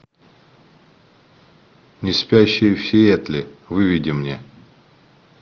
неспящие в сиэтле выведи мне